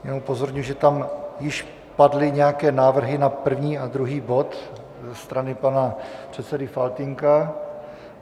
Jenom upozorňuji, že tam již padly nějaké návrhy na první a druhý bod ze strany pana předsedy Faltýnka.